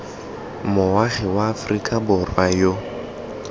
moagi wa aforika borwa yo